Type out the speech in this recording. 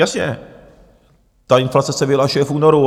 Jasně, ta inflace se vyhlašuje v únoru.